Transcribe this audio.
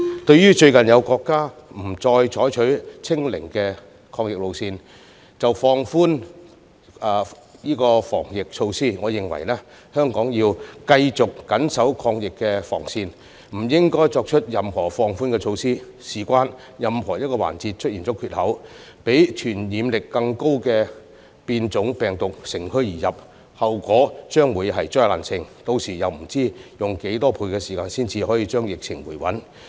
就最近有國家不再採取"清零"的抗疫路線便放寬防疫措施，我認為香港要繼續緊守抗疫防線而不應該作出任何放寬措施，原因是若有任何一個環節出現缺口，讓傳染力更高的變種病毒乘虛而入，便會出現災難性後果，屆時不知道要用多少倍時間才可以令疫情回穩。